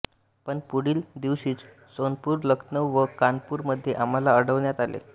पण पुढील दिवशीच जोनपुर लखनऊ व कानपूर मध्ये आम्हाला अडवण्यात आले